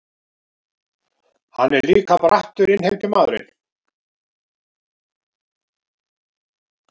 Hann er líka brattur innheimtumaður.